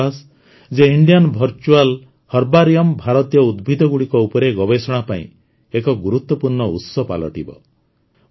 ମୋର ବିଶ୍ୱାସ ଯେ ଇଣ୍ଡିଆନ ଭର୍ଚୁଆଲ ହର୍ବାରିଅମ୍ ଭାରତୀୟ ଉଦ୍ଭିଦଗୁଡ଼ିକ ଉପରେ ଗବେଷଣା ପାଇଁ ଏକ ଗୁରୁତ୍ୱପୂର୍ଣ୍ଣ ଉତ୍ସ ପାଲଟିବ